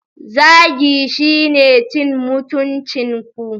Zagi shine cin mutuncin ku.